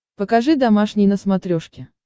покажи домашний на смотрешке